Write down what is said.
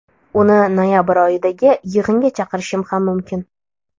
Uni noyabr oyidagi yig‘inga chaqirishim ham mumkin.